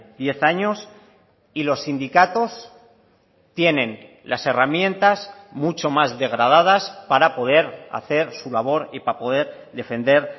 diez años y los sindicatos tienen las herramientas mucho más degradadas para poder hacer su labor y para poder defender